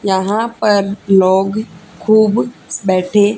यहां पर लोग खूब बैठे।